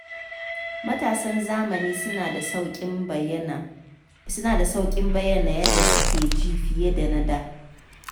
Matasan zamani suna da sauƙin bayyana yadda suke ji fiye da na da.